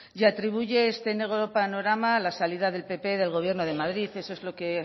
y atribuye este negro panorama a la salida del pp del gobierno de madrid eso es lo que